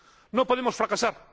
No podemos fracasar.